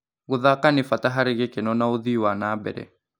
Gũthaka nĩ bata harĩ gĩkeno na ũthii wa na mbere.